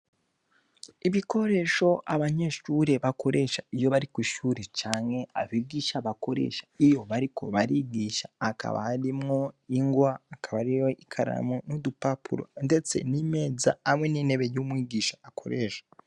Ibikoresho abanyeshure bakoresha iyo bari kw'ishure canke abigisha bakoresha iyo bariko barigisha. Hakaba harimwo ingwa, hakaba harimwo ikaramu n'udupapuro ndetse n'imeza hamwe n'intebe y'umwigisha akoresha.